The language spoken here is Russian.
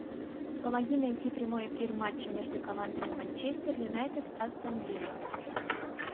помоги найти прямой эфир матча между командами манчестер юнайтед астон вилла